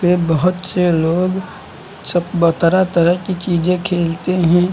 ये बहुत से लोग सब तरह तरह की चीजें खेलते हैं।